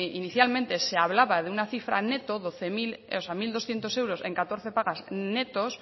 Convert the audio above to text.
inicialmente se hablaba de una cifra neto mil doscientos euros en catorce pagas netos